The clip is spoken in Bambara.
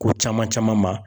Ko caman caman ma.